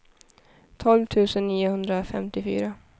tolv tusen niohundrafemtiofyra